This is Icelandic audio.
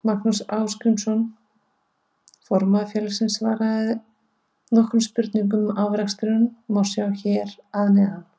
Magnús Ásgrímsson formaður félagsins svaraði nokkrum spurningum og afraksturinn má sjá hér að neðan.